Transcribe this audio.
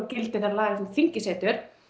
gildi þeirra laga sem þingið setur